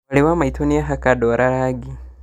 Mwarĩ wa maitũ nĩahaka ndwara rangi